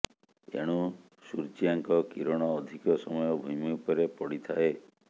ଏଣୁ ସୂର୍ୟ୍ୟାଙ୍କ କିରଣ ଅଧିକ ସମୟ ଭୂମି ଉପରେ ପଡ଼ିଥାଏ